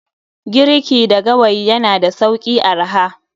Giriki da gawayi yana da sauki/arha